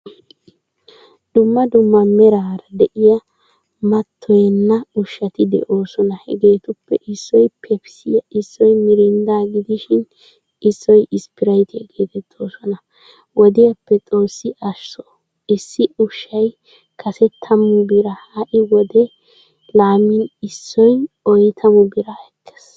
Dumma dumma meraara de'iyaa matoyenna ushshatti deosona. Hegeetuppe issoy pepisiya, Issoy miriinda gidishin issoy spirayttaiyaa geetettoosona. Wodiyappe xoossi ashsho issi ushshay kase tammu biraa ha'i wode laamin issoy oyttamu biraa ekkees.